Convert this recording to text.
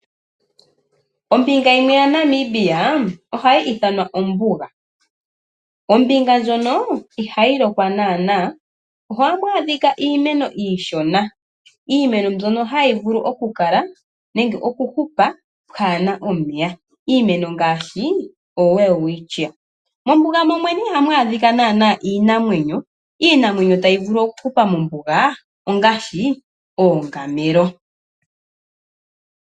Ombinga yimwe ya Namibia ohayi ithanwa ombuga. Ombinga ndjono ihayi lokwa naana. Ohamu adhika iimeno iishona ,iimeno mbyono hayi vulu okuhupa kapuna omeya. Iimeno ngaashi o Welwistchia. Mombuga momwene ihamu adhika naana iinamwenyo ,iinamwenyo tayi vulu oku hupa mombuga ongaashi oongamelo.